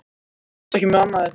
Ég hugsa ekki um annað en þig.